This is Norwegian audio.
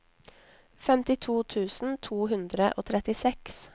femtito tusen to hundre og trettiseks